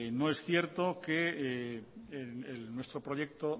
no es cierto que nuestro proyecto